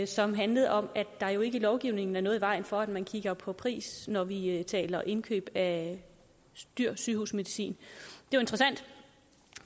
som handlede om at der jo ikke i lovgivningen er noget i vejen for at man kigger på pris når vi taler indkøb af dyr sygehusmedicin